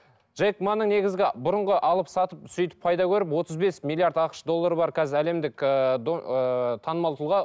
джейк маның негізгі бүрынғы алып сатып сөйтіп пайда көріп отыз бес миллиард ақш доллары бар қазір әлемдік ыыы ыыы танымал тұлға